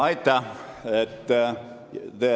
Aitäh!